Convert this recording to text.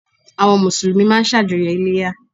Àwọn Mùsùlùmí máa n sàjọyọ̀ Iléyá